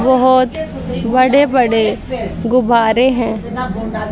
बहोत बड़े बड़े गुब्बारे हैं।